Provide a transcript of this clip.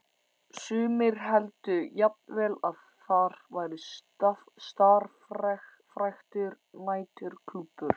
Sumir héldu jafnvel að þar væri starfræktur næturklúbbur.